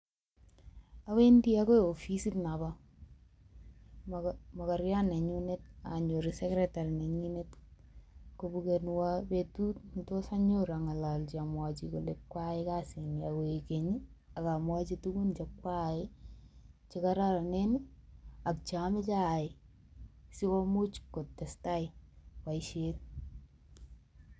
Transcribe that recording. Awendi ago ofisit nobo moko mokoriot nenyunet anyoru secretary neyinet kobukenwo betut ne tos anyoru ang'alachi amwochi kole kwaai kasini agoegeny, agamwachi tugun che kwaai che koraranen, ak che amache aai sikomuch kotestai boisiet.